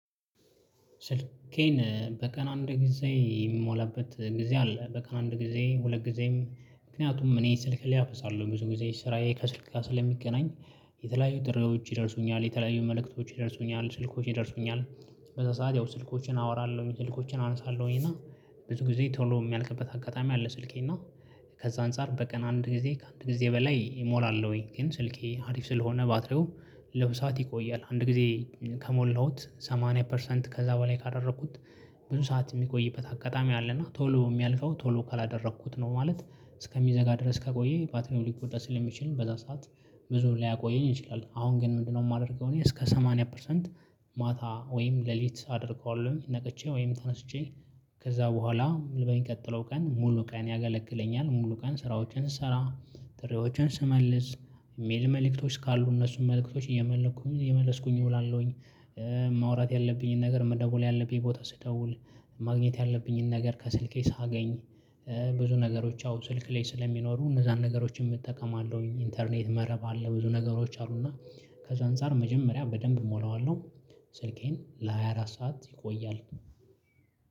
ስልኬን በቀን አንድ ጊዜ የምሞላበት ጊዜ አለ በቀን አንድ ጊዜ ሁለት ጊዜም ምክንያቱም እኔ ስልክ ሊያፍሳለሁ ብዙ ጊዜ ስራዬ ከስልክ ጋር ስለሚገናኝ። የተለያዩ ጥሪዎች ይደርሱኛል የተለያዩ መልእክቶች ደርሶኛል ስልኮች ደርሶኛል። በዛ ሰዓት ያው ስልኮችን አወራለሁኝ ስልኮችን አንሳለሁኝ እና ብዙ ጊዜ ቶሎ የሚያልቅበት አጋጣሚ አለ ስልኬ እና። ከዛ አንፃር በቀን አንድ ጊዜ ከአንድ ጊዜ በላይ እሞላለሁኝ። ግን ስልኬ አሪፍ ስለሆነ ባትሪው ለብዛት ይቆያል አንድ ጊዜ ከሞላሁት ሰማንያ ፐርሰንት ከዛ በኋላ ካደረኩት። ብዙ ሰዓት የሚቆይበት አጋጣሚ አለና ቶሎ የሚያልፈው ቶሎ ካላደረኩት ነው። ማለት እስከሚዘጋ ድረስ ከቆየ ባትሪው ሊቆጠር ስለሚችል በዛ ሰዓት ብዙም ላያቆየኝ እንችላለን። አሁን ግን ምንድነው? የማደርገው እኔ እስከ ሰማኒያ ፐርሰንት። ማታ ወይም ሌሊት አደርገዋለሁ ነቅቼ ወይም ተነስቼ ከዛ በኋላ ቀጥሎ ቀን ሙሉ ቀን ያገለግለኛል ሙሉ ቀን ስራዎችን ስሰራ። ጥሪዎችን ስመልስ የሚል መልእክቶች ካሉ እነሱን መልእክቶች እየመለስኩኝ እየመለስኩኝ እውላለሁኝ። ማውራት ያለብኝን ነገር መደውል ያለብኝ ቦታ ስደውል ማግኘት ያለብኝን ነገር ከስልኬ ሳገኝ። ብዙ ነገሮች አው ስልክ ላይ ስለሚኖሩ እነዛን ነገሮችን እጠቀማለሁኝ ኢንተርኔት መረብ አለ ብዙ ነገሮች አሉና። ከዛ አንፃር መጀመሪያ በደንብ እሞላዋለሁ። ስልኬን ለሃያ አራት ሰዓት ይቆያል።